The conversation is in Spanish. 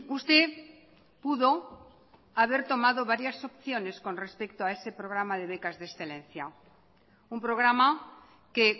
usted pudo haber tomado varias opciones con respecto a ese programa de becas de excelencia un programa que